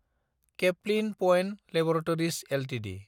Caplin Point Laboratories Ltd